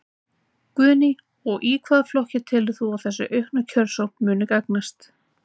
Guðný: Og hvaða flokki telur þú að þessi aukna kjörsókn muni gagnast?